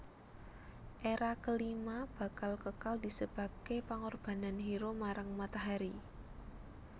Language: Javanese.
Era kelima bakal kekal disebabke pengorbanan hero marang matahari